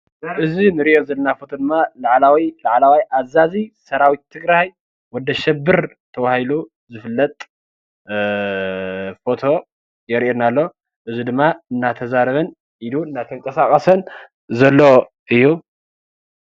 እዚ እንርኦ ዘለና ፎቶ ድማ ላዕላዊ ላዕለዋይ ኣዛዚ ሰራዊት ትግራይ ወዲ ኣሸብር ተባሂሉ ዝፍለጥ ፎቶ የሪአና ኣሎ። እዚ ድማ እንዳተዛረበን ኢዱ እንዳተቃሳቀሰን ዘሎ እዩ።